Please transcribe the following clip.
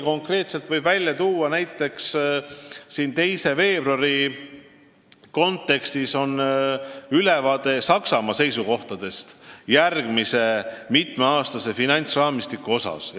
Konkreetselt võin praegu välja tuua, et seisuga 2. veebruar on olemas ülevaade Saksamaa seisukohtadest järgmise mitmeaastase finantsraamistiku osas.